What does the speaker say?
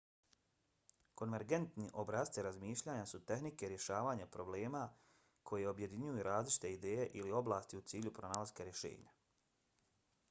konvergentni obrasci razmišljanja su tehnike rješavanja problema koje objedinjuju različite ideje ili oblasti u cilju pronalaska rješenja